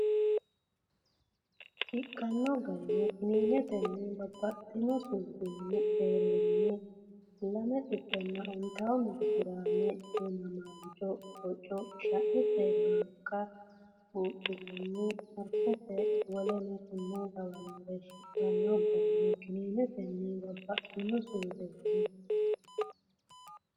Shiqqanno garino Kininetenni babbaxxino suudinna deerrinni(250, mili giraame) Du’namaancho( boco, shaete maanka) Buudhinanni, marfete w k l Shiqqanno garino Kininetenni babbaxxino suudinna.